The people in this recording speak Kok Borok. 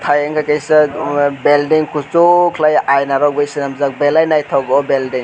ayna kesak belding kosok kelai ayna rok bai semanjak belai naitogo belding.